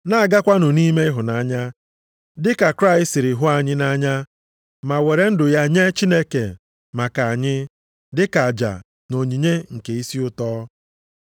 Na-agakwanụ nʼime ịhụnanya, dịka Kraịst siri hụ anyị nʼanya ma were ndụ ya nye Chineke maka anyị dịka aja na onyinye nke isi ụtọ.